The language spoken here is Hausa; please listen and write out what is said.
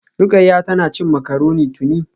Rukayya tana cin macaroni tuni